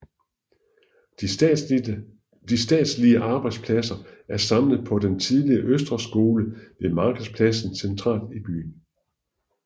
De statslige arbejdspladser er samlet på den tidligere Østre Skole ved Markedspladsen centralt i byen